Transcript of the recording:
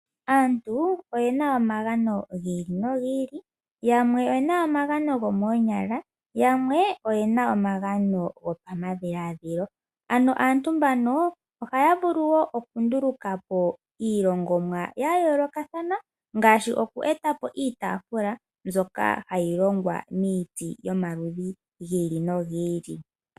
Aantu oyena omagano gi ili nogi ili, yamwe oyena omagano gomoonyala yamwe oyena omagano go pamadhiladhilo ano aantu mbano ohaya vulu woo oku ndulukapo iilongomwa ya yoolokathana ngaashi oku etapo iitaafula mbyoka hayi longwa miiti yomaludhi gibili nogi ili.